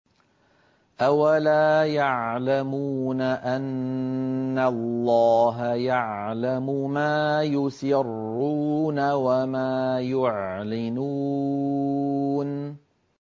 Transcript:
أَوَلَا يَعْلَمُونَ أَنَّ اللَّهَ يَعْلَمُ مَا يُسِرُّونَ وَمَا يُعْلِنُونَ